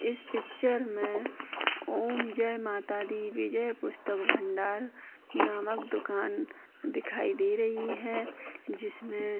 इस पिक्चर में ओम जय माता दी विजय पुस्तक भंडार नामक दुकान दिखाई दे रही है जिसमें --